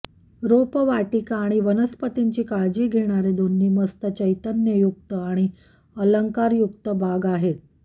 रोपवाटिका आणि वनस्पतींची काळजी घेणारे दोन्ही मस्त चैतन्ययुक्त आणि अलंकारयुक्त बाग आहेत